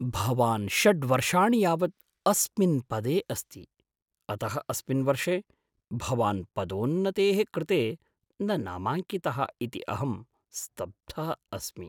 भवान् षड् वर्षाणि यावत् अस्मिन् पदे अस्ति, अतः अस्मिन् वर्षे भवान् पदोन्नतेः कृते न नामाङ्कितः इति अहं स्तब्धः अस्मि।